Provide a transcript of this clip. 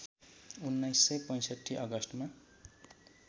१९६५ अगस्टमा